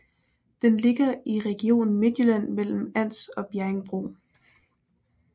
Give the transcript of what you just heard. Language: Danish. Den ligger i Region Midtjylland mellem Ans og Bjerringbro